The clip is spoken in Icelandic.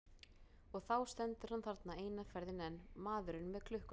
Og þá stendur hann þarna, eina ferðina enn, maðurinn með klukkuna.